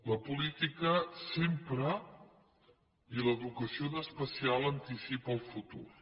la política sempre i l’educació en especial anticipa el futur